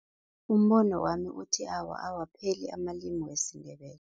Umbono wami uthi, awa, awapheli amalimi wesiNdebele.